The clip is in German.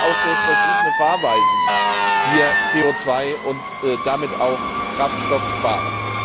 man kann auch durch verschiedene Fahrweisen hier CO 2 und damit auch Kraftstoff sparen.